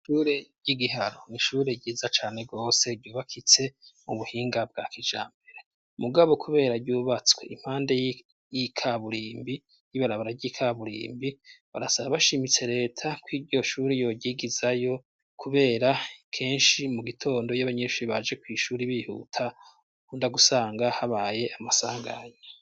Ishure ry'igiharo ni ishure ryiza cane rwose ryubakitse mu buhinga bwa kija mbere mugabo, kubera ryubatswe impande yikaburimbi y'ibarabara ry'ikaburimbi barasaba bashimitse leta ko iryo shuri yoryigizayo, kubera kenshi mu gitondo y'abanyinshuri baje kw'ishuri ibihuta undagusanga habaye amasanganyi.